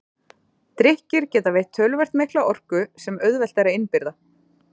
Drykkir geta veitt töluvert mikla orku sem auðvelt er að innbyrða.